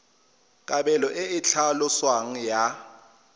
kabelo e e tlhaloswang ya